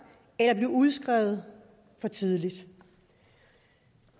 eller bliver udskrevet for tidligt